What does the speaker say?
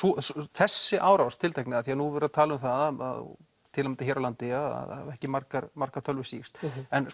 þessi árás tiltekna af því nú er verið að tala um það til að mynda hér á landi að það hafa ekki margar margar tölvur sýkst